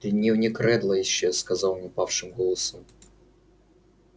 дневник реддла исчез сказал он упавшим голосом